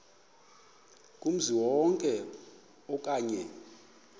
kumzi wonke okanye